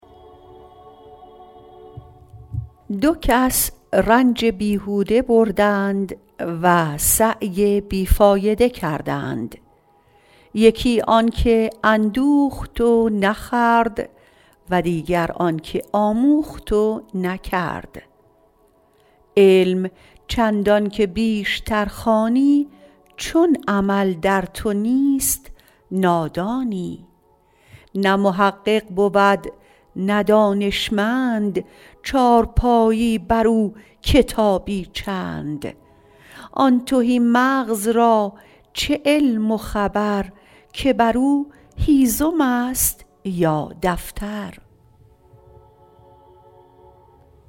دو کس رنج بیهوده بردند و سعی بی فایده کردند یکی آن که اندوخت و نخورد و دیگر آن که آموخت و نکرد علم چندان که بیشتر خوانی چون عمل در تو نیست نادانی نه محقق بود نه دانشمند چارپایی بر او کتابی چند آن تهی مغز را چه علم و خبر که بر او هیزم است یا دفتر